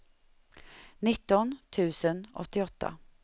nitton tusen åttioåtta